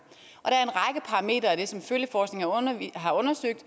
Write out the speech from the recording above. der er det som følgeforskningen har undersøgt